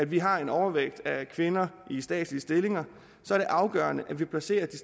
vi har en overvægt af kvinder i statslige stillinger er det afgørende hvor vi placerer de